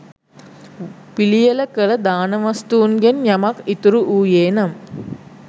පිළියෙල කළ දාන වස්තූන්ගෙන් යමක් ඉතිරි වූයේ නම්